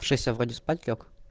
в шесть я вроде спать лёг